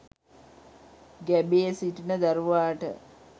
ගැබේ සිටින දරුවාට